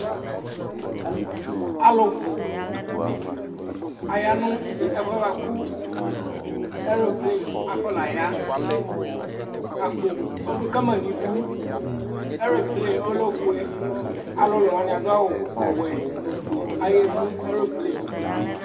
Alʋbu ayanu ɛfʋɛ bʋakʋ ɛlble afɔnaya Akpo ɔɖu kama ŋu iɖʋ Ɛlble ɔlɛ ɔfʋe Alulu aɖu awu ɔwɛ, ɔfʋe ayahemu ɛlble'e